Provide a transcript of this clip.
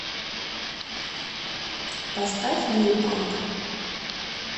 поставь лил памп